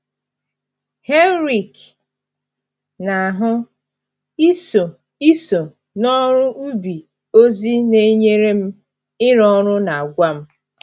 Henryk na-ahụ: “Iso “Iso na ọrụ ubi ozi na-enyere m ịrụ ọrụ na àgwà m.”